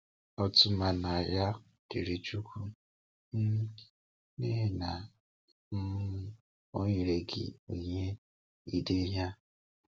Otúmanya dịrị Chúkwú um n’ihi na um Ọ nyere gị onyinye ide ihe a!